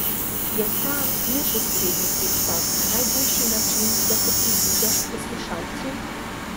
Je ta neposredni pristop najboljši način, da se približaš poslušalcu?